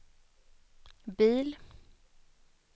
bil